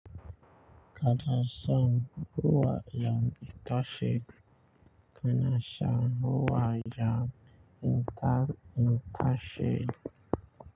Kada sun ruwa yan ita shida kada sun ruwa yan ita ita shida.